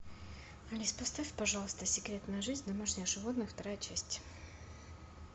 алис поставь пожалуйста секретная жизнь домашних животных вторая часть